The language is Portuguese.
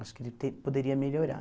Acho que ele te poderia melhorar.